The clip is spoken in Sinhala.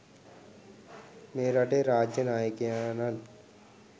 මේ රටේ රාජ්‍ය නායකයාණන්